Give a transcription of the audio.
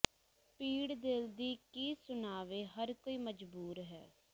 ਪੀੜ ਦਿਲ ਦੀ ਕੀ ਸੁਣਾਵੇ ਹਰ ਕੋਈ ਮਜਬੂਰ ਹੈ